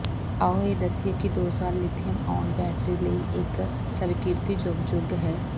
ਆਓ ਇਹ ਦੱਸੀਏ ਕਿ ਦੋ ਸਾਲ ਲਿਥੀਅਮ ਆਉਨ ਬੈਟਰੀ ਲਈ ਇੱਕ ਸਵੀਕ੍ਰਿਤੀਯੋਗ ਯੁੱਗ ਹੈ